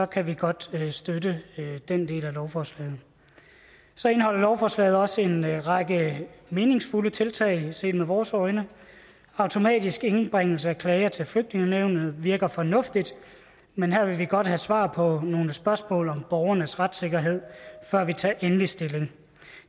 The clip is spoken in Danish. kan vi godt støtte støtte den del af lovforslaget så indeholder lovforslaget også en række meningsfulde tiltag set med vores øjne automatisk indbringelse af klager til flygtningenævnet virker fornuftigt men her vil vi godt have svar på nogle spørgsmål om borgernes retssikkerhed før vi tager endeligt stilling